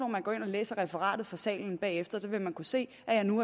man går ind og læser referatet fra salen bagefter for så vil man kunne se at jeg nu